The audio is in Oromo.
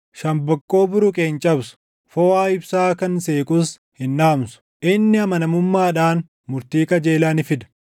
Shambaqqoo buruqe hin cabsu; foʼaa ibsaa kan seequs hin dhaamsu. Inni amanamummaadhaan murtii qajeelaa ni fida;